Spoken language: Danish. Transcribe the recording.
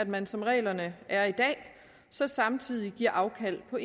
man som reglerne er i dag så samtidig giver afkald på